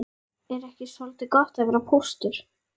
Er ekki soldið gott að vera póstur?